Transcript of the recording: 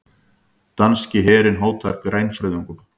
Danski herinn hótar grænfriðungum